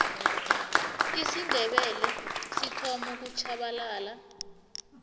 isindebele sithoma ukutjhabalala